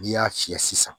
N'i y'a fiyɛ sisan